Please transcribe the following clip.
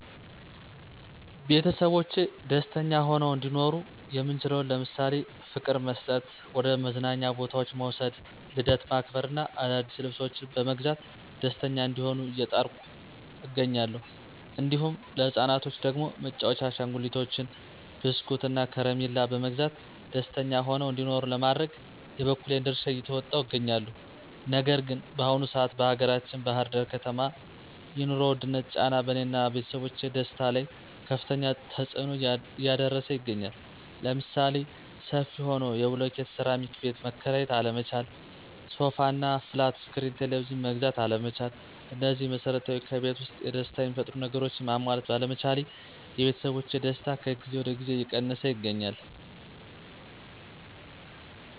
ቤተሰቦቼ ደስተኛ ሆነው እንዲኖሩ የምችለውን ለምሳሌ፦ ፍቅር መስጠት፣ ወደ መዝናኛ ቦታዎች መዉሰድ፣ ልደት ማክበር እና አዳዲስ ልብሶችን በመግዛት ደስተኛ እንዲሆኑ እየጣርኩ እገኛለሁ። እንዲሁም ለህፃናቶች ደግሞ መጫዎቻ አሸንጉሊቶችን፣ በስኩት፣ እና ከረሚላ በመግዛት ደስተኛ ሆነው እንዲኖሩ ለማድረግ የበኩሌን ድርሻ እየተወጣሁ እገኛለሁ። ነገር ግን በአሁኑ ሰአት በአገራችን ባህር ዳር ከተማ የኑሮ ዉድነት ጫና በእኔ እና ቤተሰቦቼ ደስታ ላይ ከፋተኛ ተፅኖ እያደረሰ ይገኛል። ለምሳሌ፦ ሰፊ ሆኖ የብሎኬት ሴራሚክ ቤት መከራየት አለመቻል፣ ሶፋ እና ፍላት እስክሪን ቴሌቭዥን መግዛት አለመቻል እነዚህ መሰረታዊ ከቤት ዉስጥ ደስታ የሚፈጥሩ ነገሮችን ማሟላት ባለመቻሌ የቤተሰቦቼ ደስታ ከጊዜ ወደ ጊዜ እየቀነሰ ይገኛል።